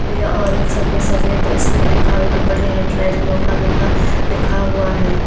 पे और एक सफेद सफेद इसपे लिखा भी बड़े हेडलाइन मोटा मोटा लिखा हुआ है।